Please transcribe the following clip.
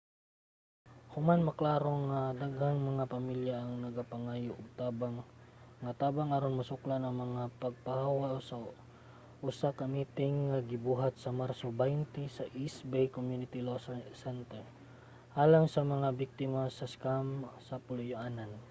human maklaro nga daghang mga pamilya ang nagapangayo og tabang nga tabang aron masuklan ang mga pagpapahawa usa ka miting ang gibuhat sa marso 20 sa east bay community law center alang sa mga nabiktima sa scam sa puloy-anan